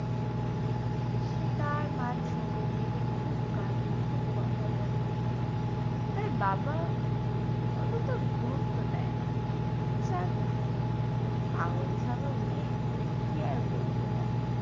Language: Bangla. সে তার মার ছবির দেখে খুব কাঁদে খুব কথা বলে। তার বাবা অতটা গুরুত্ব দেয় না, যাক পাগল ছাগল মেয়ে কী আর বলব তাকে।